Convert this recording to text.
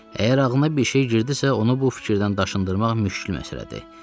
Əgər ağlına bir şey girdisə, onu bu fikirdən daşındırmaq müşkül məsələdir.